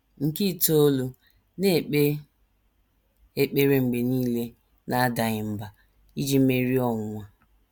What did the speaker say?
Nke itoolu: “ Na - ekpe ekpere mgbe nile, n’adaghị mbà, ” iji merie ọnwụnwa.